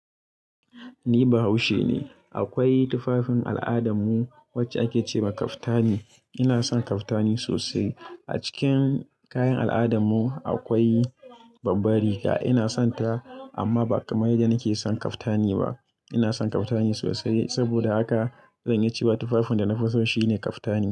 Ni Bahaushe ne. Akwai tufafin al'adarmu wacce ake ce ma kaftani. Ina son kaftani sosai. A cikin kayan al'adarmu akwai babbar Riga. Ina sonta, amma ba kamar yadda nake son kaftani ba. Ina son kaftani sosai. Saboda haka zan iya cewa tufafin da na fi so shine kaftani.